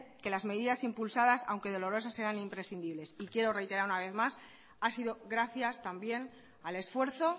que las medidas impulsadas aunque dolorosas eran imprescindibles y quiero reiterar una vez más ha sido gracias también al esfuerzo